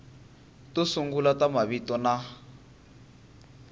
to sungula ta mavito na